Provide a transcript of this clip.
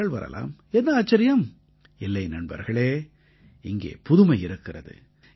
மக்கள் வரலாம் என்ன ஆச்சரியம் இல்லை நண்பர்களே இங்கே புதுமை இருக்கிறது